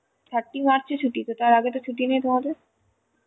thirty march তো ছুটি তার আগে ছুটি নেই তো তোমাদের ?